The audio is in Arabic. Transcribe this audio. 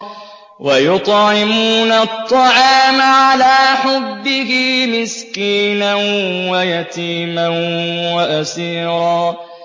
وَيُطْعِمُونَ الطَّعَامَ عَلَىٰ حُبِّهِ مِسْكِينًا وَيَتِيمًا وَأَسِيرًا